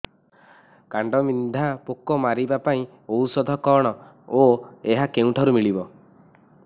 କାଣ୍ଡବିନ୍ଧା ପୋକ ମାରିବା ପାଇଁ ଔଷଧ କଣ ଓ ଏହା କେଉଁଠାରୁ ମିଳିବ